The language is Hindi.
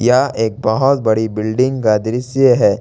यह एक बहोत बड़ी बिल्डिंग का दृश्य है।